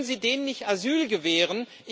Können Sie denen nicht Asyl gewähren?